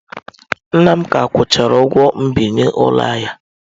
Nna m ka akwụchara ụgwọ mbinye ụlọ ya.